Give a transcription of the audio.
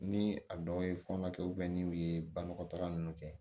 Ni a dɔw ye fɔ na kɛ ni u ye bagan taga ninnu kɛ